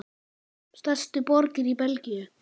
Stærstu borgir í Belgíu